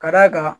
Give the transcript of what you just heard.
Ka d'a kan